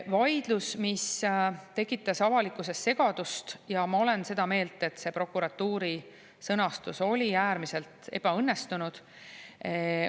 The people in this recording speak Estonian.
Avalikkuses tekitas segadust ja vaidlust prokuratuuri sõnastus ja ma olen seda meelt, et see oli äärmiselt ebaõnnestunud.